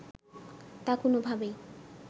তা কোনোভাবেই